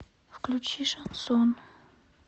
включи шансон